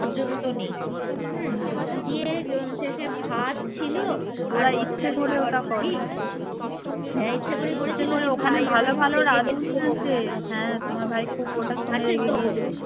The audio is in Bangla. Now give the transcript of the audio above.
পর্যন্ত নেই হুম দি শেষে ভাত ছিল হ্যা ইচ্ছে করেই করেছিল আছে তো